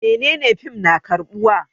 Menene fim na karbuwa?